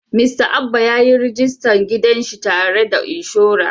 Mista Abba ya yi rajista gidan shi tare da inshora.